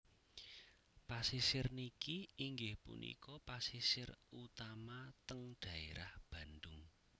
Pasisir niki inggih punika pasisir utama teng daerah Bandung